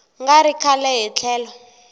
nga ri kahle hi tlhelo